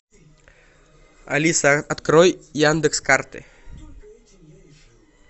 алиса открой яндекс карты